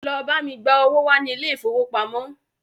Lọ bá mi gba owó wá ní ilé ìfowópamọ́!